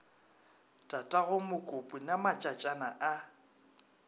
tatago mokopu na matšatšana a